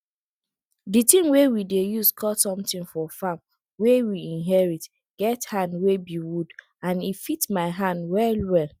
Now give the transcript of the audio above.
di tin wey we dey use cut somtin for farm wey we inherit get hand wey be wood and e fit my hand well well